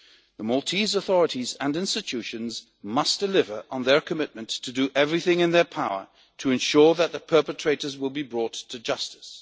The Maltese authorities and institutions must deliver on their commitment to do everything in their power to ensure that the perpetrators will be brought to justice.